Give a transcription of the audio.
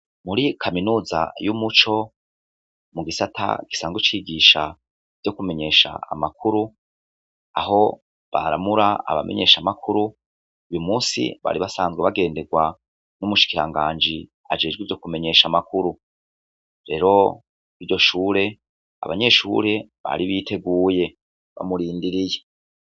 Muri kaminuza y'umuco, mu gisata gisanzwe cigisha ivyo kumenyesha amakuru, aho baharamura abamenyeshamakuru, uyu munsi bari basanzwe bagenderwa n'umushikiranganji ajejwe ivyo kumenyesha amakuru. Rero iryo shure, abanyeshure bari biteguye bamurindiriye.